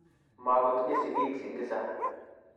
Magotinye sigiik Singiza